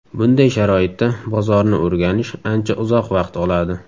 Bunday sharoitda bozorni o‘rganish ancha uzoq vaqt oladi.